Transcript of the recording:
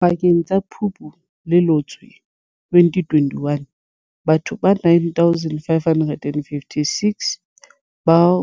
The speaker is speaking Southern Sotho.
Pakeng tsa Phupu le Loetse 2021, batho ba 9 556, bao